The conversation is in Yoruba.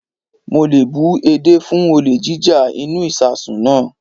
Mo le bú edé fún olè jíjá inú ìsasùn náà.